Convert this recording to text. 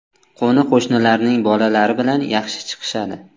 Qo‘ni-qo‘shnilarning bolalari bilan yaxshi chiqishadi.